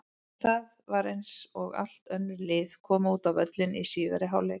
En það var eins og allt önnur lið kæmu út á völlinn í síðari hálfleik.